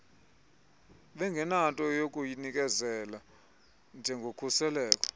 bengenanto yakuyinikezela njengokhuseleko